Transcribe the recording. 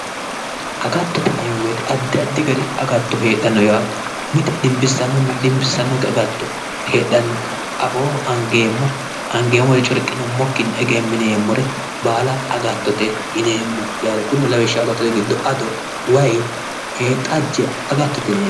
Agattote yineemmo woyiite addi addi gari agatto heedhanno yaate mite dinbissannonna dinbissannokki agatto heedhanno afooho angeemmo woyi corqinummokkinni egemmineemmore agattote yineemmo kurino lawishshaho ado wayi xajje agattote yineemmo